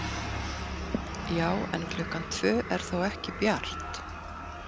Já, en klukkan tvö er þó ekki bjart.